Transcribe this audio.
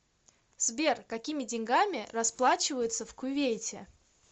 сбер какими деньгами расплачиваются в кувейте